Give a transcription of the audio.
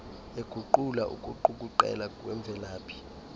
eguqula ukuqukuqela kwemvelaphi